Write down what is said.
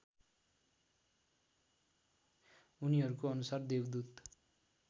उनीहरूको अनुसार देवदूत